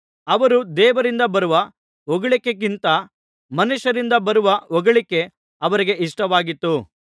ಅವರು ದೇವರಿಂದ ಬರುವ ಹೊಗಳಿಕೆಗಿಂತ ಮನುಷ್ಯರಿಂದ ಬರುವ ಹೊಗಳಿಕೆ ಅವರಿಗೆ ಇಷ್ಟವಾಗಿತ್ತು